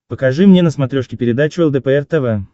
покажи мне на смотрешке передачу лдпр тв